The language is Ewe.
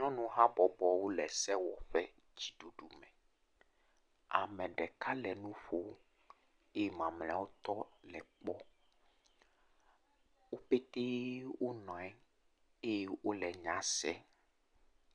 Nyɔnu habɔbɔwo le sewɔƒe dzi ɖuɖu me. Ame ɖeka le nu ƒom eye mamleawo tɔ le ekpɔm eye wòle nye sem.